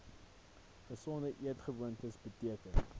gesonde eetgewoontes beteken